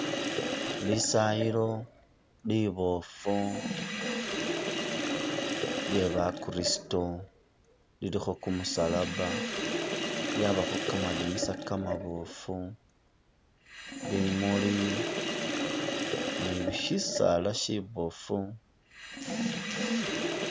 Lisayilo liboofu lye bakristo lilikho kumusalaba ,lyabakho kamadinisa kamaboofu, bimuli, ni bi shisaala shiboofu.